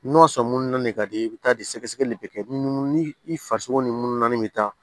N'o sɔn mun na ne ka di ye i bɛ taa di sɛgɛsɛgɛli bɛ kɛ ni mun ni i farisogo ni mununanin bɛ taa